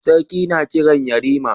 Sarki na Kiran yarima